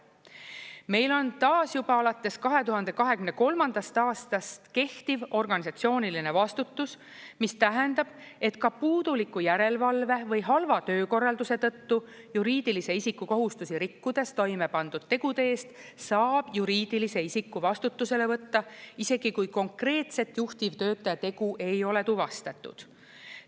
Meil on taas juba alates 2023. aastast kehtiv organisatsiooniline vastutus, mis tähendab, et ka puuduliku järelevalve või halva töökorralduse tõttu juriidilise isiku kohustusi rikkudes toime pandud tegude eest saab juriidilise isiku vastutusele võtta isegi siis, kui konkreetset juhtivtöötaja tegu ei ole tuvastatud.